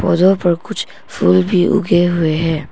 पर कुछ फूल भी उगे हुए हैं।